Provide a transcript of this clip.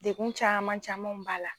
Dekun caman camanw b'a la.